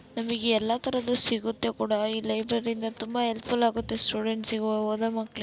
ನಮಿಗೆ ಎಲ್ಲಾ ತರದು ಸಿಗುತ್ತೆ ಕೂಡ ಈ ಲೈಬ್ರರಿ ಇಂದ ತುಂಬಾ ಹೆಲ್ಫ್ಫುಲ್ ಆಗುತ್ತೆ ಸ್ಟೂಡೆಂಟ್ಸ್ ಗು ಓದೋ ಮಕ್ಕಳಿ--